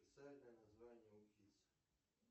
официальное название уфис